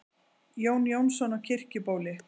Jón Jónsson á Kirkjubóli